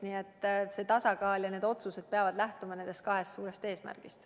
Nii et see tasakaal ja need otsused peavad lähtuma nendest kahest suurest eesmärgist.